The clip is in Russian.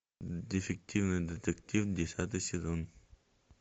дефективный детектив десятый сезон